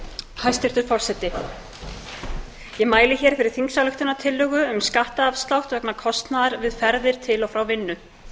hæstvirtur forseti ég mæli hér fyrir þingsályktunartillögu um skattafslátt vegna kostnaðar við ferðir til og frá vinnu